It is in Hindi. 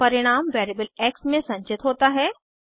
फिर परिणाम वेरिएबल एक्स में संचित होता है